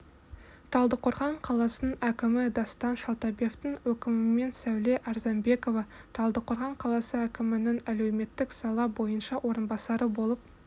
талдықорған қаласының әкімі дастан шалтабевтың өкімімен сәуле арзанбекова талдықорған қаласы әкімінің әлеуметтік сала бойынша орынбасары болып